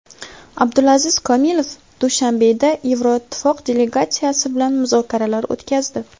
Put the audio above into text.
Abdulaziz Komilov Dushanbeda Yevroittifoq delegatsiyasi bilan muzokaralar o‘tkazdi.